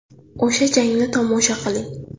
O‘sha jangni tomosha qiling !